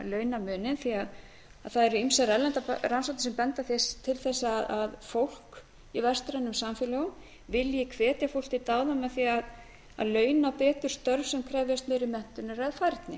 launamuninn því að það eru ýmsar erlendar rannsóknir sem benda til þess að fólk í vestrænum samfélögum vilji hvetja fólk til dáða með því að launa betur störf sem krefjast meiri menntunar eða færni